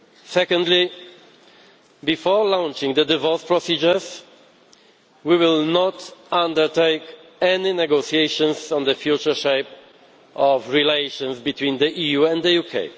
Secondly, before launching the divorce proceedings we will not undertake any negotiations on the future shape of relations between the EU and the UK.